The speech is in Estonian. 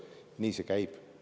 Nii see käib.